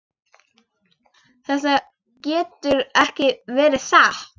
Þetta getur ekki verið satt.